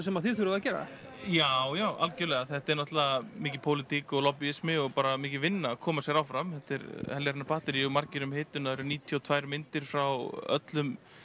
sem þið þurfið að gera já já algjörlega þetta er náttúrulega mikil pólitík og lobbýismi og bara mikil vinna að koma sér áfram þetta er heljarinnar batterý og margir það eru níutíu og tvær myndir frá öllum